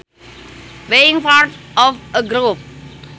Being part of a group